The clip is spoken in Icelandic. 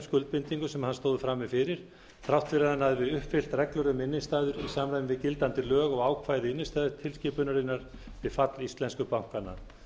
skuldbindingum sem hann stóð frammi fyrir þrátt fyrir að hann hafi uppfyllt reglur um innstæður í samræmi við gildandi lög og ákvæði innstæðutilskipunarinnar við fall íslensku bankanna